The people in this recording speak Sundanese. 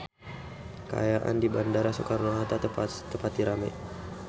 Kaayaan di Bandara Soekarno Hatta teu pati rame